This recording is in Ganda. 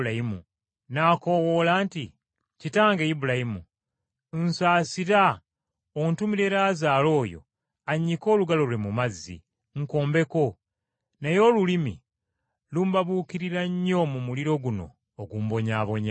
N’akoowoola nti, ‘Kitange Ibulayimu, nsaasira, ontumire Laazaalo oyo annyike olugalo Lwe mu mazzi, nkombeko, naye olulimi lumbabuukirira nnyo mu muliro guno ogumbonyaabonya!’